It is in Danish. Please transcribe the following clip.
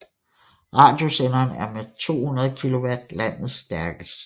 Radiosenderen er med 200 kW landets stærkeste